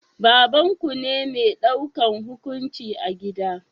Babanku ne mai daukan hukunci a gida?